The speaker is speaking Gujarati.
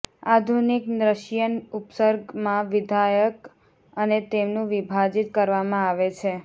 આધુનિક રશિયન ઉપસર્ગ માં વિધાયક અને તેમનુ વિભાજિત કરવામાં આવે છે